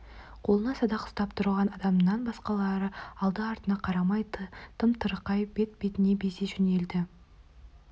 қолына садақ ұстап тұрған адамнан басқалары алды-артына қарамай тым-тырақай бет-бетіне безе жөнелді